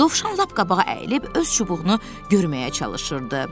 Dovşan lap qabağa əyilib öz çubuğunu görməyə çalışırdı.